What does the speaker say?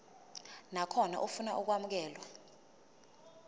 nakhona ofuna ukwamukelwa